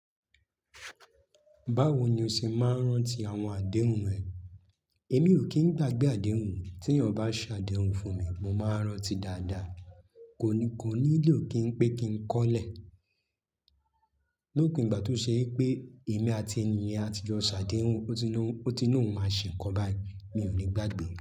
Báwo ni o ṣe máa ń rántí àwọn àdéhùn rẹ? Èmi ò kí ń gbàgbé àdéhùn, tí eeyan bá ṣe àdéhùn fún mi, mo máa n rántí dáadáa. Kò ní, kò nílò kí n pe kí n kọ́ lẹ̀. Lopin ìgbà tó ṣe wipé èmi àti ẹni yẹn àtijọ́ ṣàdéhùn, ó ti lọ, ó ti lọ́hun máa ṣe nkan bai, mi ò ní gbàgbé.